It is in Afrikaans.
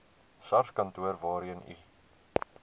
sarskantoor waarheen u